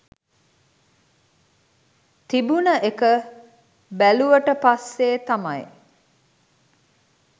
තිබුන එක බැලුවට පස්සේ තමයි